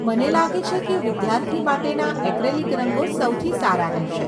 મને લાગે છે કે વિદ્યાર્થી માટેના એક્રેલિક રંગો સૌથી સારા રહેશે.